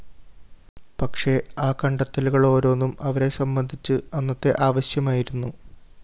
പക്ഷേ ആ കണ്ടെത്തലുകളോരോന്നും അവരെ സംബന്ധിച്ച് അന്നത്തെ ആവശ്യമായിരുന്നു